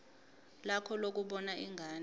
lakho lokubona ingane